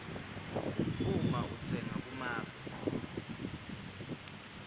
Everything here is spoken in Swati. uma utsenga kumave